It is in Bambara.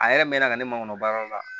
A yɛrɛ mɛnna ka ne makɔnɔ baara yɔrɔ la